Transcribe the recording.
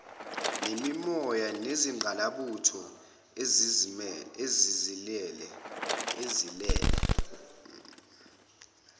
nemimoya yezingqalabutho ezilele